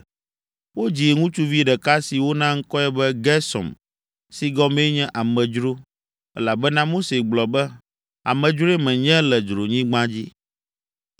Wodzi ŋutsuvi ɖeka si wona ŋkɔe be Gersom si gɔmee nye “Amedzro,” elabena Mose gblɔ be, “Amedzroe menye le dzronyigba dzi.”